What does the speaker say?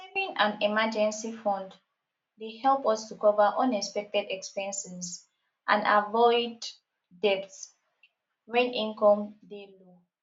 saving an emergency fund dey help us to cover unexpected expenses and avoid debt when income dey low